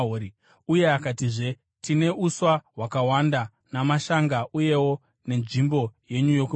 Uye akatizve, “Tine uswa hwakawanda namashanga, uyewo nenzvimbo yenyu yokuvata.”